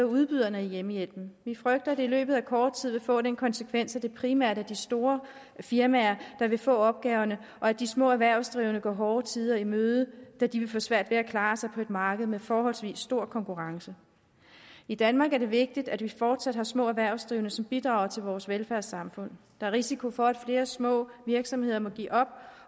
udbyderen af hjemmehjælpen vi frygter at det i løbet af kort tid vil få den konsekvens at det primært er de store firmaer der vil få opgaverne og at de små erhvervsdrivende går hårde tider i møde da de vil få svært ved at klare sig på et marked med forholdsvis stor konkurrence i danmark er det vigtigt at vi fortsat har små erhvervsdrivende som bidrager til vores velfærdssamfund er risiko for at flere små virksomheder må give op